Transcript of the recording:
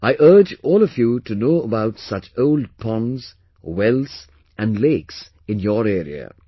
I urge all of you to know about such old ponds, wells and lakes in your area